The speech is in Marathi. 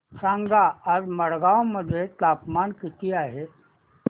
सांगा आज मडगाव मध्ये तापमान किती आहे